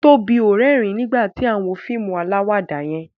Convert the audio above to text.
Tóbi o rérìn nígbàtí a wón fíìmù alawada yén